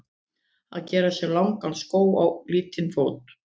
Að gera sér langan skó á lítinn fót